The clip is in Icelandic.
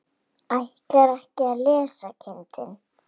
Ætlarðu ekki að lesa kindin?